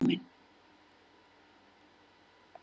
En málin bara æxluðust svona og hérna er ég komin.